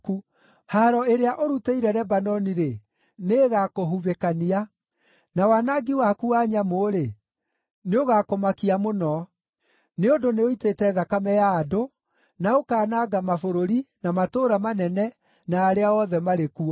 Haaro ĩrĩa ũrutĩire Lebanoni-rĩ, nĩĩgakũhubĩkania, na wanangi waku wa nyamũ-rĩ, nĩũgakũmakia mũno. Nĩ ũndũ nĩũitĩte thakame ya andũ, na ũkaananga mabũrũri, na matũũra manene, na arĩa othe marĩ kuo.